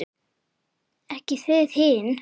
Ekki þið hin!